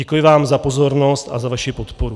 Děkuji vám za pozornost a za vaši podporu.